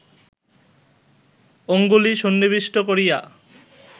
অঙ্গুলি সন্নিবিষ্ট করিয়া